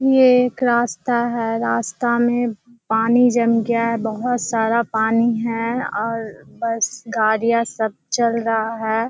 ये एक रास्ता है। रास्ता में पानी जम गया है। बहुत सारा पानी है और बस गाड़ियाँ सब चल रहा है।